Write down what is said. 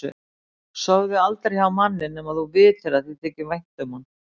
Sofðu aldrei hjá manni nema að þú vitir að þér þyki vænt um hann